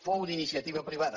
fou d’iniciativa privada